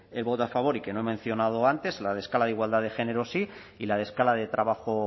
el voto a favor y que no he mencionado antes la de escala de igualdad de género sí y la de escala de trabajo